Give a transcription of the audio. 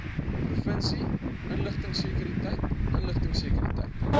provinsie inligtingsekuriteit inligtingsekuriteit